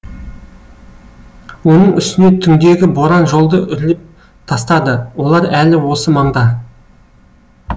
оның үстіне түңдегі боран жолды үрлеп тастады олар әлі осы маңда